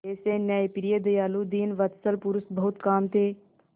ऐसे न्यायप्रिय दयालु दीनवत्सल पुरुष बहुत कम थे